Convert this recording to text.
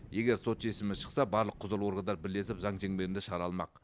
егер сот шешімі шықса барлық құзырлы органдар бірлесіп заң шеңберінде шара алмақ